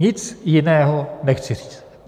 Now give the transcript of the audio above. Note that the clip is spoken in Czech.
Nic jiného nechci říct.